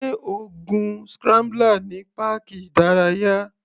Sé o gun scrambler ní páàkì ìdárayá?